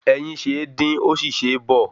Ẹyin ṣe é dín, ó sì ṣe é bọ̀